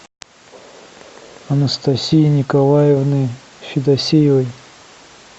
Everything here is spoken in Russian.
анастасии николаевны федосеевой